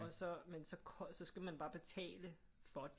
Og så men så så skal man bare betale for det